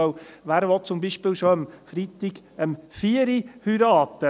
Denn wer will zum Beispiel schon freitags um 16 Uhr heiraten?